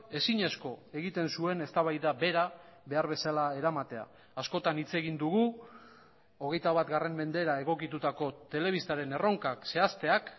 ezinezko egiten zuen eztabaida bera behar bezala eramatea askotan hitz egin dugu hogeita bat mendera egokitutako telebistaren erronkak zehazteak